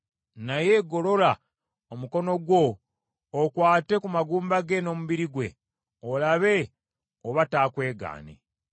naye golola omukono gwo okwate ku magumba ge n’omubiri gwe olabe oba taakwegaane.”